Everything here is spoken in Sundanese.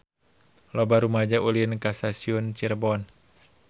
Loba rumaja ulin ka Stasiun Cirebon